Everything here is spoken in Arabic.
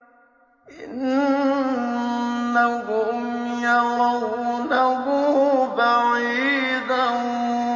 إِنَّهُمْ يَرَوْنَهُ بَعِيدًا